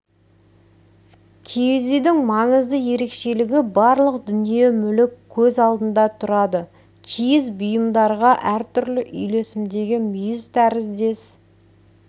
киіз үйдің маңызды ерекшелігі барлық дүние-мүлік көз алдында тұрады киіз бұйымдарға әртүрлі үйлесімдегі мүйіз тәріздес